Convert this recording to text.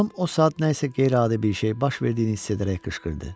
Anam o saat nə isə qeyri-adi bir şey baş verdiyini hiss edərək qışqırdı.